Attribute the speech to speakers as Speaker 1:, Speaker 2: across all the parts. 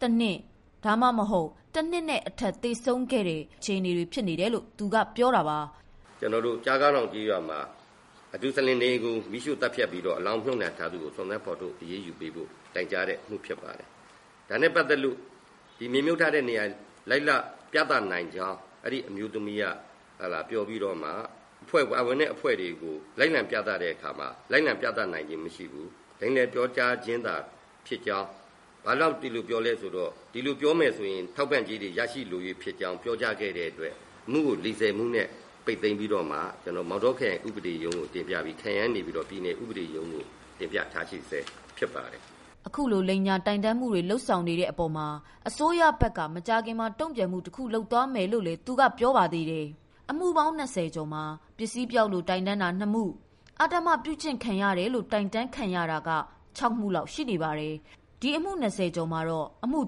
Speaker 1: တနှစ် ဒါမှမဟုတ် တနှစ်နဲ့အထက် သေဆုံးခဲ့တဲ့အခြေအနေတွေဖြစ်နေတယ်လို့ သူကပြောတာပါ။
Speaker 2: " ကျနော်တို့ ကျားခေါင်းတောင်ကျေးရွာမှာ မူဆလင်အိမ်တွေကို မီးရှို့သတ်ဖြတ်ပြီးတော့ အလောင်းတွေမြုပ်နှံထားသူကို စုံစမ်းဖော်ထုတ်အရေးယူပေးဖို့ တိုင်ကြားတဲ့ အမှုဖြစ်ပါတယ်။ ဒါနဲ့ပတ်သက်လို့ မြေမြုပ်ထားတဲ့နေရာကို လိုက်လံပြသနိုင်ကြောင်း အဲ့ဒီ့အမျိုးသမီးက ပြောပြီးတော့မှ ပါဝင်တဲ့အဖွဲ့တွေကို လိုက်လံပြသတဲ့အခါမှာ လိုက်လံပြသနိုင်ခြင်း မရှိဘူး။ လိမ်လည်ပြောကြားခြင်းသာဖြစ်ကြောင်း ဘာကြောင့် ဒီလိုပြောလဲဆိုတော့ ဒီလိုပြောမယ်ဆိုရင် ထောက်ပံ့ကြေးတွေ ရရှိမယ်လို့ ပြောကြားခဲ့တဲ့အတွက် အမှုကို လီဆည်မှုနဲ့ပိတ်သိမ်းပြီးတော့မှ ကျနော်တို့ မောင်တောခရိုင်ဥပဒေရုံးကို တင်ပြပြီး ခရိုင်ကနေပြီးတော့မှ ပြည်နယ်ဥပဒေရုံးကို တင်ပြထားရှိဆဲဖြစ်ပါတယ်ခင်ဗ
Speaker 1: ျ။ အခုလို လိမ်ညာတိုင်တန်းမှုတွေလုပ်ဆောင်နေတဲ့အပေါ်မှာ အစိုးရဘက်က မကြာခင်မှာ တုံ့ပြန်မှုတခုလုပ်သွားမယ်လို့လည်း သူက ပြောဆိုပါသေးတယ်။ အမှု ၂၀မှာ ပစ္စည်းပျောက်ဆုံးလို့ တိုင်တန်းတာ ၂မှု၊ အဓမ္မပြုခံရတယ်လို့ တိုင်တန်း ခံရတာက ၆မှုလောက် ရှိနေပါတယ်။ ဒီအမှု ၂၀ကျော်မှာတော့ အမှု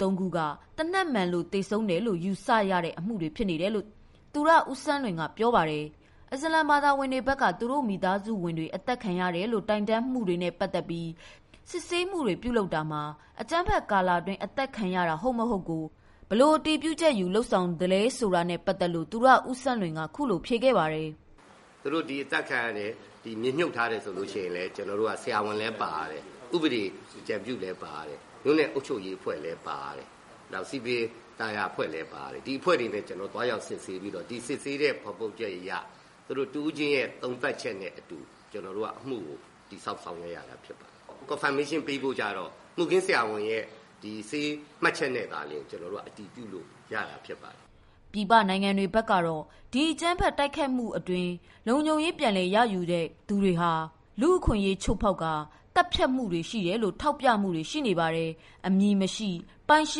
Speaker 1: ၃မှုကတော့ သေနတ်မှန်လို့ သေဆုံးတယ်လို့ ယူဆရတဲ့ အမှုတွေဖြစ်တယ်လို့ သူရဦးစန်းလွင်ကပြောပါတယ်။ အစ္စလာမ်ဘာသာဝင်တွေဘက်က သူတို့မိသားစုတွေ အသတ်ခံရတယ်လို့ တိုင်တန်းမှုတွေနဲ့ ပတ်သတ်ပြီး စစ်ဆေးမှုတွေပြုလုပ်တာမှာ အကြမ်းဖက်ကာလအတွင်း အသတ်ခံရတာ ဟုတ်မဟုတ်ကို ဘယ်လို အတည်ပြု လုပ်ဆောင်သလဲ ဆိုတာနဲ့ပတ်သတ်လို့ ဗွီအိုအေကမေးမြန်းမှုကို သူရဦးစန်းလွင်က ဖြေခဲ့ပါတယ်။
Speaker 2: "သူတို့ ဒီအသတ်ခံရတယ် ဒီမြေမြုပ်ထားတယ် ဆိုလို့ရှိရင် ဆရာဝန်လည်း ပါရတယ်။ ဥပဒေအကြံပြုလည်း ပါရတယ်။ မြို့နယ်အုပ်ချုပ်ရေးအဖွဲ့လည်းပါရတယ်။ နောက် စည်ပင်သာယာအဖွဲ့လည်း ပါရတယ်။ ဒီအဖွဲ့တွေနဲ့သွားရောက်စစ်ဆေးပြီးတော့ ဒီစစ်ဆေးဖော်ထုတ်ချက်အရ သူတို့တဦးချင်းရဲ့ သုံးသပ်ချက်နဲ့အတူ ကျနော်တို့က အမှုကို တည်ဆောက်ဆောင်ရွက်ရတာပါ။ Confirmation ပေးဖို့ကျတော့ မှုခင်းဆရာဝန်ရဲ့ ဆေးမှတ်ချက်နဲ့သာလျှင် ကျနော်တို့က အတည်ပြုလို့ရတာဖြစ်ပါတယ်။
Speaker 1: " ပြည်ပနိုင်ငံတွေဘက်ကတော့ ဒီအကြမ်းဖက်တိုက်ခိုက်မှုအတွင်းမှာ လုံခြုံရေး ပြန်လည်တာဝန်ယူထားသုူတွေက လူ့အခွင့်အရေးချိုးဖောက်ကာ သတ် ဖြတ်မှုတွေ ရှိနေတယ်လို့ ထောက်ပြမှုတွေ ရှိနေပါတယ်။ အမည်မရှိပိုင်ရှ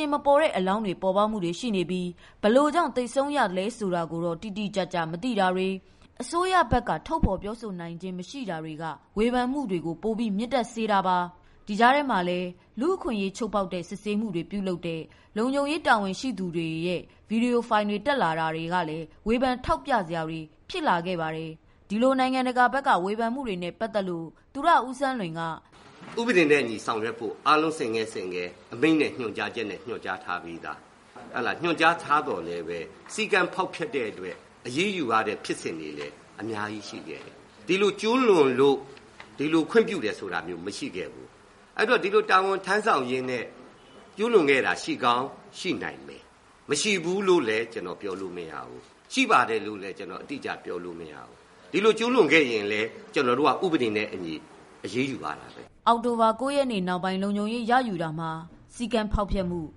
Speaker 1: င်မပေါ်တဲ့အလောင်းတွေ ပေါ်ပေါက်မှုတွေရှိနေပြီး ဘယ်လိုကြောင့်သေဆုံးရသလဲဆိုတာကိုတော့ တိတိကျကျ မသိတာတွေ၊ အစိုးရဘက်က ထုတ်ဖော်ပြောဆိုနိုင်ခြင်း မရှိနေတာတွေရှိနေတာကြောင့် ဝေဖန်မှုတွေကို ပိုပြီး မြင့်တက်စေတာပါ။။ ဒီကြားထဲမှာလဲ လူ့အခွင့်အရေး ချိုးဖောက်တဲ့ စစ်ဆေးမှု တွေကို လုံခြုံရေး တာဝန်ထမ်းသူတွေ လုပ်ဆောင်နေတဲ့ ဗွီဒီယိုဖိုင်တက်လာတာတွေကလည်း ဝေဖန်ထောက်ပြစရာတွေဖြစ်လာခဲ့ပါတယ်။ ဒီလို နိုင်ငံတကာဘက်ကဝေဖန်မှုတွေနဲ့ ပတ်သတ်လို့ သူရဦးစန်းလွင်က
Speaker 2: ဗွီအိုအေကိုဖြေပါတယ်။ "ဥပဒေနဲ့အညီဆောင်ရွက်ဖို့ အားလုံးဆင့်ကဲဆင့်ကဲ အမိန့်နဲ့ညွှန်ကြားချက်နဲ့ ညွှန်ကြားထားပြီးသား။ ညွှန်ကြားထားသော်လည်းပဲ စည်းကမ်းဖောက်ဖျက်တဲ့အတွက် အရေးယူရတဲ့ဖြစ်စဉ်တွေလည်း အများကြီးရှိခဲ့တယ်။ ဒီလိုကျူးလွန်လို့ ဒီလိုခွင့်ပြုတယ်ဆိုတာ မရှိခဲ့ဘူး။ အဲ့တော့ ဒီလိုတာဝန်ထမ်းဆောင်ရင်းနဲ့ကျူးလွန်ခဲ့တာ ရှိကောင်းရှိနိုင်မယ် မရှိဘူးလို့လည်း ကျနော်ပြောလို့မရဘူး။ ရှိပါတယ်လို့လည်း ကျနော် အတိအကျပြောလို့မရဘူး။ ဒီလိုကျူးလွန်ခဲ့ရင်လည်း ကျနော်တို့က ဥပဒေနဲ့အညီအရေးယူရတ
Speaker 1: ာပဲ။" အောက်တိုဘာ ၉ရက် နောက်ပိုင်း လုံခြုံရေးရယူတာမှာ စည်းကမ်းဖောက်ဖျက်မှု၊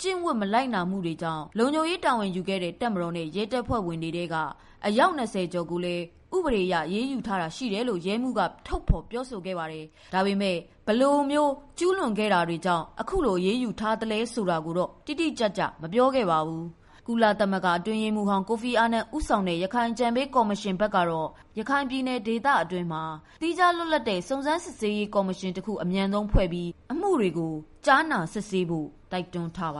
Speaker 1: ကျင့်ဝတ်မနာ ခံမှုတွေကြောင့် လုံခြုံရေးတာဝန်ယူခဲ့တဲ့ တပ်မတော်နဲ့ရဲတပ်ဖွဲ့ဝင်တွေ အယောက် ၂၀ကျော်ကိုလည်း ဥပဒေအရ အရေးယူထားတာရှိ တယ်လို့ရဲမှုးက ထုတ်ဖော်ပြောဆိုခဲ့ပေမယ့် ဒါပေမဲ့ ဘယ်လိုကျူးလွန်မှုတွေကြောင့် အရေးယူထားသလဲ ဆိုတာကိုတော့ တိတိကျကျမပြောခဲ့ပါဘူး။ ကုလအတွင်းရေးမှုးဟောင်း ကိုဖီအာနန်ဦးဆောင်တဲ့ ရခိုင်အကြံပေးကော်မရှင်ဘက် ကတော့ ရခိုင်ပြည်နယ်တွင်းမှာ သီးခြား လွတ်လပ်တဲ့ စုံစမ်းစစ်ဆေးမှုကော်မရှင် တခုဖွဲ့ပြီး အမှုတွေကို စစ်ဆေးဖို့ ကြားဖြတ်အစီရင်ခံစာမှာ တိုက်တွန်းထားပါ